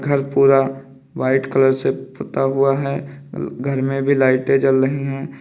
घर पूरा white colour से पुता हुआ है घर में भी लाइटें जल रही हैं।